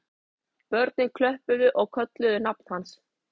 Börnin klöppuðu og kölluðu nafn hans